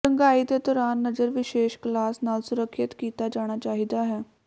ਰੰਗਾਈ ਦੇ ਦੌਰਾਨ ਨਜ਼ਰ ਵਿਸ਼ੇਸ਼ ਗਲਾਸ ਨਾਲ ਸੁਰੱਖਿਅਤ ਕੀਤਾ ਜਾਣਾ ਚਾਹੀਦਾ ਹੈ